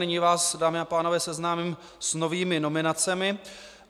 Nyní vás, dámy a pánové, seznámím s novými nominacemi.